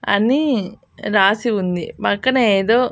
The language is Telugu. అని రాసి ఉంది పక్కనేదో.